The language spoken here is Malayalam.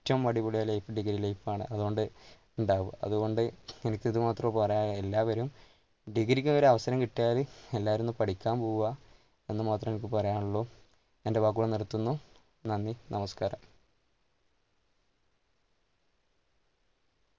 ഏറ്റവും അടിപൊളിയായ life degree life ആണ് അതുകൊണ്ട് ഉണ്ടാവുക, അതുകൊണ്ട് എനിക്ക് ഇത് മാത്രമേ പറയാനുള്ളൂ എല്ലാവരും degree ക്ക് ഒരു അവസരം കിട്ടിയാൽ എല്ലാവരും ഒന്ന് പഠിക്കാൻ പോവുക എന്ന് മാത്രമേ എനിക്ക് പറയാനുള്ളു എൻ്റെ വാക്കുകൾ നിർത്തുന്നു. നന്ദി! നമസ്കാരം!